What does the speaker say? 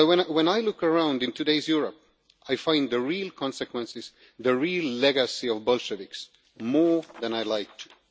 When I look around in today's Europe, I find the real consequences, the real legacy of Bolsheviks, more than I like to.